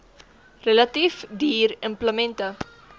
relatief duur implemente